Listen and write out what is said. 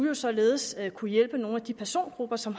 jo således at kunne hjælpe nogle af de persongrupper som